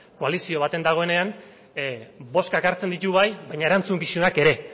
koalizio baten dagoenean bozkak hartzen ditu bai baina erantzukizunak ere